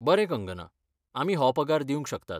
बरें कंगना, आमी हो पगार दिवंक शकतात.